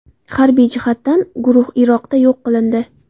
Harbiy jihatdan guruh Iroqda yo‘q qilindi”.